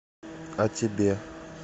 а тебе